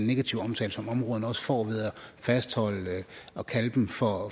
negative omtale som områderne også får ved at fastholde at kalde dem for